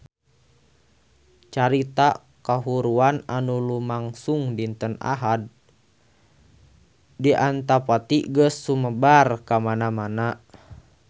Carita kahuruan anu lumangsung dinten Ahad wengi di Antapani geus sumebar kamana-mana